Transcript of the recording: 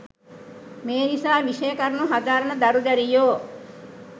මේ නිසා විෂය කරුණු හදාරන දරු දැරියෝ